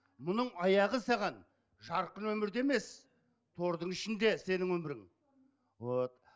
мұның аяғы саған жарқын өмірді емес тордың ішінде сенің өмірің вот